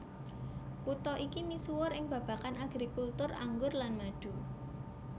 Kutha iki misuwur ing babagan agrikultur anggur lan madu